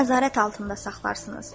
Bunu nəzarət altında saxlayarsınız.